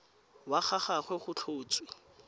wa ga gagwe go tlhotswe